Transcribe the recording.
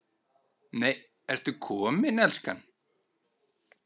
NEI, ERTU KOMIN, ELSKAN!